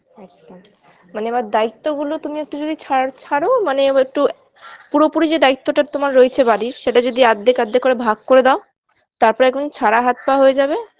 একদম মানে এবার দায়িত্ব গুলো তুমি একটু যদি ছাড় ছাড়ো মানে এবার একটু পুরোপুরি যে দায়িত্বটা তোমার রয়েছে বাড়ির সেটা যদি আর্ধেক আর্ধেক করে ভাগ করে দাও তারপর একদম ছাড়া হাত-পা হয়ে যাবে